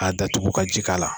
A datugu ka ji k'a la